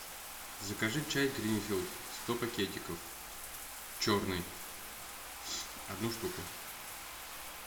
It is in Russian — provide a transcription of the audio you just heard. закажи чай гринфилд сто пакетиков черный одну штуку